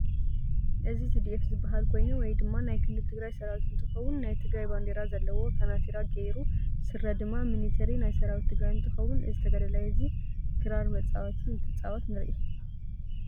እዚ ቲዲአፊ ዝበሃል ኮይኑ ወይ ድማ ናይ ክልል ትግራይ ሰራዊት እንትከውን ናይ ትግራይ ባንዴራ ዘለዎ ካናቲራ ገይሩ ስረ ድማ ሚንተሪ ናይ ሰራዊት ትግራይ እንትከውን እዚ ተጋዳላይ እዚ ክራር መፃወቲ እትፃወት ንርኢ።